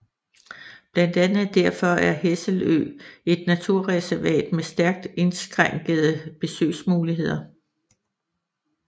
Blandt andet derfor er Hesselø et naturreservat med stærkt indskrænkede besøgsmuligheder